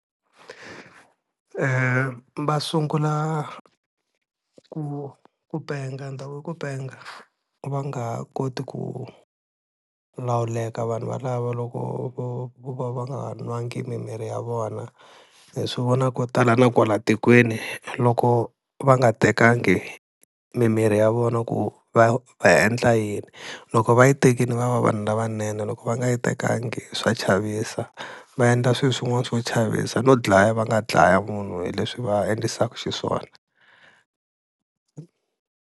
Va sungula ku ku penga ni ta ku i ku penga va nga ha koti ku lawuleka vanhu valava loko vo va va nga nwangi mimirhi ya vona, hi swi vona ko tala na kwala tikweni loko va nga tekangi mimirhi ya vona ku va va endla yini, loko va yi tekile va va vanhu lavanene, loko va nga yi tekanga swa chavisa va endla swilo swin'wana swo chavisa no dlaya va nga dlaya munhu hi leswi va endlisaka xiswona.